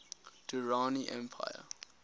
durrani empire